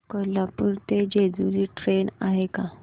कोल्हापूर ते जेजुरी ट्रेन आहे का